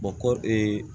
kɔ